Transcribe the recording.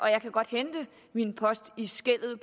jeg kan godt hente min post i skellet ud